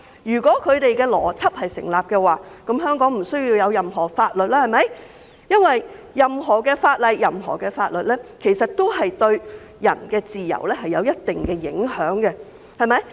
如果他們的邏輯成立，香港便不需要任何法律，因為任何法律都對人的自由有一定影響。